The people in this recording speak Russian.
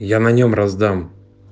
я на нем раздам